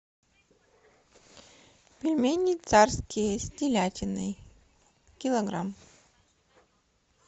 пельмени царские с телятиной килограмм